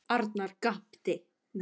Arnar gapti.